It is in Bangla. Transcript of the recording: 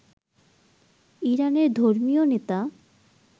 ইরানের ধর্মীয় নেতা